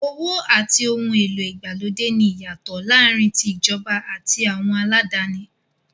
Owó àti ohun èlò ìgbàlódé ní ìyàtọ̀ láàárín tí ìjọba àti àwọn aládáni.